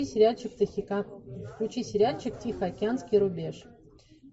включи сериальчик тихоокеанский рубеж